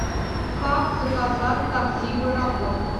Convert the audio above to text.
как заказать такси в аэропорт